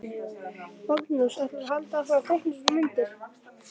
Magnús: Ætlarðu að halda áfram að teikna svona myndir?